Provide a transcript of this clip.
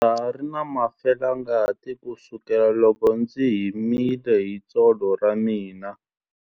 Ndza ha ri na felangati kusukela loko ndzi himile hi tsolo ra mina.